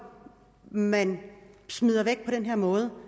man smider væk på den her måde